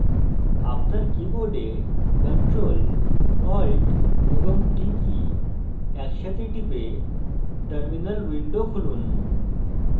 আপনার keyboard ctrl alt এবং t key একসাথে টিপে terminal window খুলুন